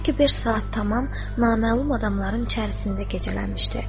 Çünki beş saat tamam naməlum adamların içərisində gecələmişdi.